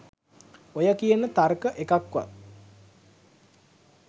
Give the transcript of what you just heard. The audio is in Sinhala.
ඔය කියන තර්ක එකක්වත්